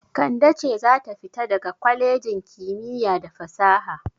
Kande ce za ta fita daga kwalejin kimiyya da fasaha.